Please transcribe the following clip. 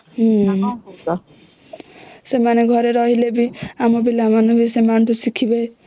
ସେମାନେ ଘରେ ରହିଲେ ବି ଆମ ପିଲା ମାନେ ବି ସେମାନଙ୍କ ଠୁ ଶିଖିବେ